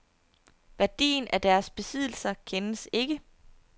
Værdien af deres besiddelser kendes ikke.